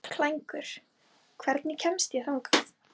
Klængur, hvernig kemst ég þangað?